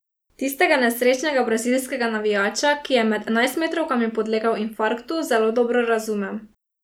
Tistega nesrečnega brazilskega navijača, ki je med enajstmetrovkami podlegel infarktu, zelo dobro razumem.